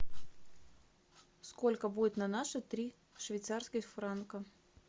сколько будет на наши три швейцарских франка